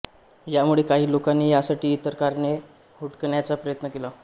यामुळे काही लोकांनी यासाठी इतर कारणे हुडकण्याचा प्रयत्न केला